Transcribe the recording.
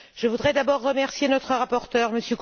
Je voudrais d'abord remercier notre rapporteur, M.